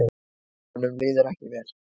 Honum líður ekki vel.